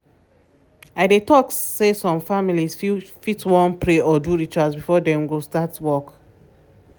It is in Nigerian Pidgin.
i dey talk say some families fit wan fit wan pray or do rituals before dem go start work.